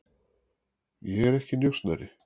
Ég er ekki njósnari.